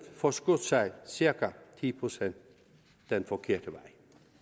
forskudt sig cirka ti procent den forkerte vej